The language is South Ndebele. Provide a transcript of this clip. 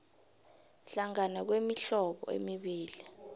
hlangana kwemihlobo emibili